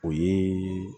O ye